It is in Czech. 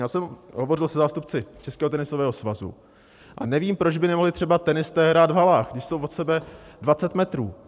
Já jsem hovořil se zástupci Českého tenisového svazu a nevím, proč by nemohli třeba tenisté hrát v halách, když jsou od sebe 20 metrů.